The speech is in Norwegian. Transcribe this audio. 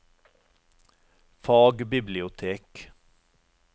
fagbibliotek